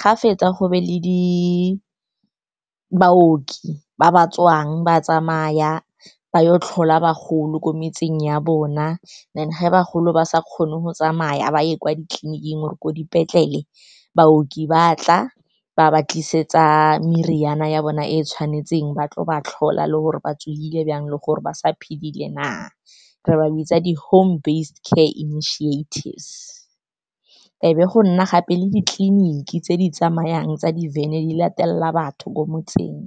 Ga fetsa, go be le baoki ba ba tswang ba tsamaya, ba yo tlhola bagolo ko metseng ya bona. Then ge bagolo ba sa kgone go tsamaya ba ye kwa ditleliniking or ko dipetlele, baoki ba tla, ba ba tlisetsa meriana ya bona e tshwanetseng, ba tlo ba tlhola le gore ba tsogile jang le gore ba sa phedile na. Re ba bitsa di home care initiatives. E be go nna gape le ditleliniki tse di tsamayang tsa di-van-e, di latelela batho ko motseng.